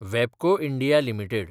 वॅबको India limited